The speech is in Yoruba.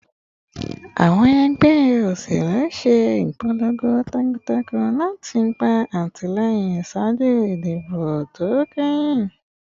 Awọn ẹgbẹ oselu ṣe ipolongo takuntakun lati gba atilẹyin ṣaaju idibo to kẹhin